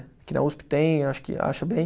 Aqui na Usp tem, acho que acha bem.